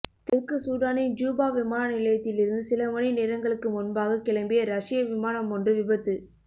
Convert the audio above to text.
தெற்கு சூடானின் ஜூபா விமான நிலையத்தில் இருந்து சில மணி நேரங்களுக்கு முன்பாக கிளம்பியரஸ்ய விமானமொன்று விபத்து